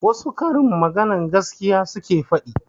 Wassu karin magana gaskiya suke faɗi